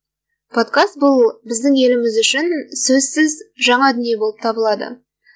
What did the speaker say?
подкаст бұл біздің еліміз үшін сөзсіз жаңа дүние болып табылады